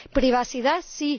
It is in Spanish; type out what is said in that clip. Privacidad, sí